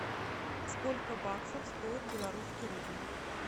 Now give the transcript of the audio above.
сколько баксов стоит белорусский рубль